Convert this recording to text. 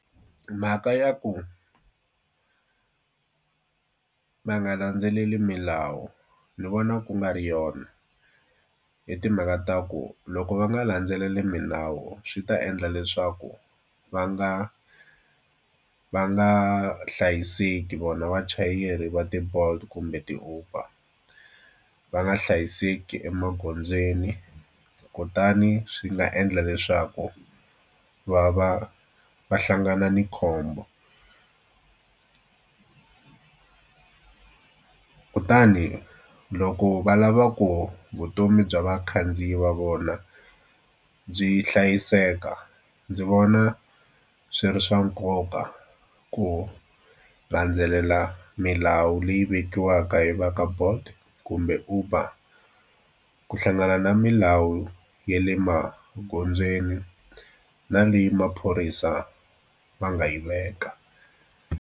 Mhaka ya ku va nga landzeleli milawu ni vona ku nga ri yona. Hi timhaka ta ku loko va nga landzeleli milawu swi ta endla leswaku va nga va nga hlayiseki vona vachayeri va ti-Bolt kumbe ti-Uber va nga hlayiseki emagondzweni. Kutani swi nga endla leswaku va va va hlangana ni khombo kutani loko va lava ku vutomi bya vakhandziyi va vona byi hlayiseka ndzi vona swi ri swa nkoka ku landzelela milawu leyi vekiwaka hi va ka Bolt kumbe Uber ku hlangana na milawu ya le maghondzweni, na leyi maphorisa va nga yi veka.